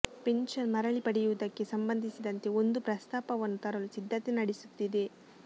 pension ಮರಳಿ ಪಡೆಯುವುದಕ್ಕೆ ಸಂಬಂಧಿಸಿದಂತೆ ಒಂದು ಪ್ರಸ್ತಾಪವನ್ನು ತರಲು ಸಿದ್ಧತೆ ನಡೆಸುತ್ತಿದೆ